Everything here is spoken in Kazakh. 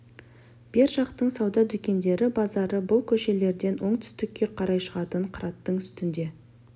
бер жақтың сауда дүкендері базары бұл көшелерден оңтүстікке қарай шығатын қыраттың үстінде